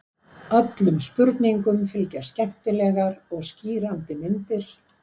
Öllum spurningum fylgja skemmtilegar og skýrandi myndir.